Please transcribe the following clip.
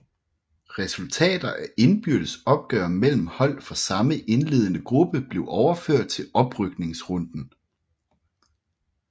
Resultater af indbyrdes opgør mellem hold fra samme indledende gruppe blev overført til oprykningsrunden